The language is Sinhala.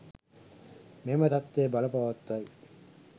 මෙම තත්ත්වය බලපවත්වයි